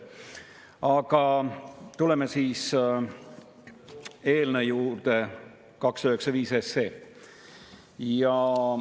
Aga tuleme eelnõu 295 juurde.